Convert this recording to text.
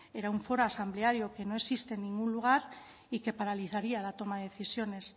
era un foro asambleario que no existe en ningún lugar y que paralizaría la toma de decisiones